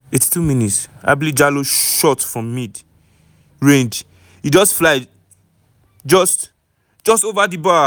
82 mins- ablie jallow shot from mid-range e just fly just just ova di bar.